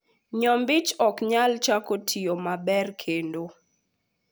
nyombich ok nyal chako tiyo maber kendo